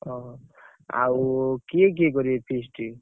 ଓହୋ! ଆଉ କିଏ କିଏ କରିବେ? feast ।